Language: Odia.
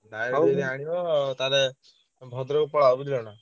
Direct ଯଦି ଆଣିବ ତାହେଲେ ତମେ ଭଦ୍ରକ ପଳାଅ ବୁଝିଲନା।